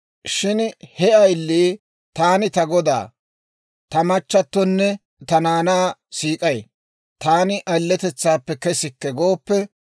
Shin he ayilii, ‹Taani ta godaa, ta machatonne ta naanaa siik'ay; taani ayiletetsaappe kesikke gooppe,›